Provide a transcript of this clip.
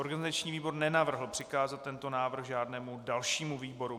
Organizační výbor nenavrhl přikázat tento návrh žádnému dalšímu výboru.